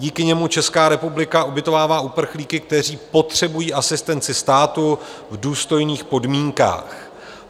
Díky němu Česká republika ubytovává uprchlíky, kteří potřebují asistenci státu, v důstojných podmínkách.